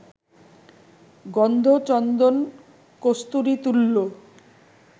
গন্ধ চন্দন-কস্তুরী তুল্য